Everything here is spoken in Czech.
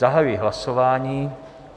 Zahajuji hlasování.